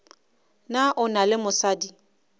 na o na le mosadi